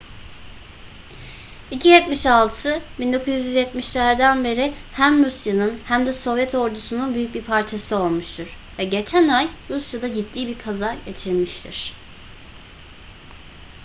ii-76 1970'lerden beri hem rusya'nın hem de sovyet ordusunun büyük bir parçası olmuştur ve geçen ay rusya'da ciddi bir kaza geçirmiştir